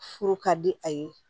Furu ka di a ye